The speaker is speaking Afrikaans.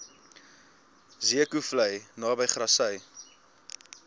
zeekoevlei naby grassy